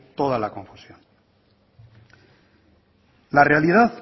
toda la confusión la realidad